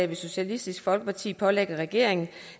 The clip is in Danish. vil socialistisk folkeparti pålægge regeringen